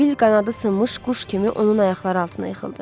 Sibil qanadı sınmış quş kimi onun ayaqları altına yıxıldı.